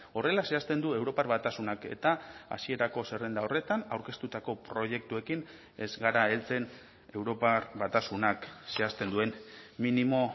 horrela zehazten du europar batasunak eta hasierako zerrenda horretan aurkeztutako proiektuekin ez gara heltzen europar batasunak zehazten duen minimo